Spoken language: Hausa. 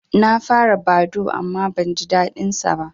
Na fara Badoo amma ban jin daɗin sa